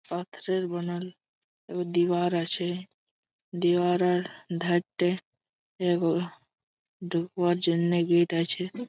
পাথরের বানান এ দিবার আছে দিবারার ধারতে এগো ঢুকবার জন্য গেট আছে।